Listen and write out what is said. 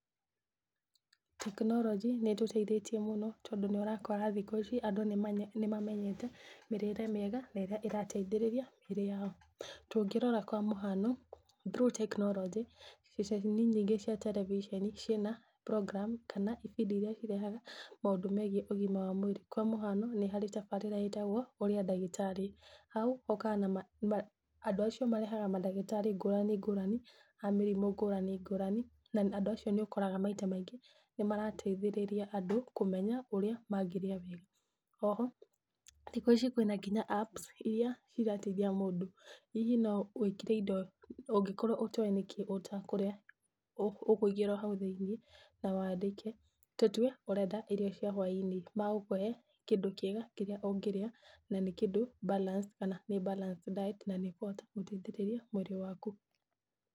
Tekinoronjĩ nĩ ĩtũteithitie mũno tondũ nĩ ũrakora thikũ ici andũ nĩmamenyete mĩrĩre mĩega na ĩrĩa ĩrateithĩrĩria mĩĩrĩ yao. Tũngĩrora kwa mũhano, through tekinoronjĩ, ceceni nyingĩ cia terebiceni ciĩna program kana ibindi iria cirehaga maũndũ megiĩ ũgima wa mwĩrĩ. Kwa mũhano nĩhari tabarĩra ĩtagwo ũria ndagĩtarĩ hau, hokaga andũ acio marehaga mandagĩtarĩ ngũrani ngũrani, a mĩrimũ ngũrani ngũrani, na andũ acio nĩũkoraga maita maingĩ nĩmarateithĩrĩria andũ kũmenya ũrĩa mangĩrĩa wega. Oho thikũ ici kwĩna ngĩnya apps iria cirateithia mũndũ. Hihi no wĩkĩre indo ũngĩkorwo ũtoĩ nĩkĩĩ ũtakũrĩa, ũkũingĩra o hau thĩinĩ na wandĩke, tũtue ũrenda irio cia hwainĩ magũkũhe kĩndũ kĩega kĩrĩa ũngĩrĩa, na nĩ kĩndũ balance kana nĩ balanced diet na nĩkũhota gũteithĩrĩria mwĩrĩ waku.